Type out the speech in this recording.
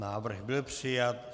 Návrh byl přijat.